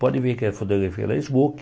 Podem ver que a fotografia era smokin.